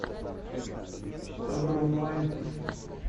тв онлайн